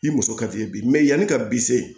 I muso ka f'i ye bi yanni ka bisen